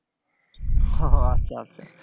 উহ আচ্ছা আচ্ছা।